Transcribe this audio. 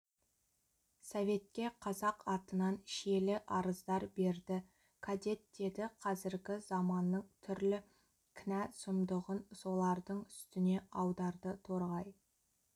советке қазақ атынан шиелі арыздар берді кадет деді қазіргі заманның түрлі кінә-сұмдығын солардың үстіне аударды торғай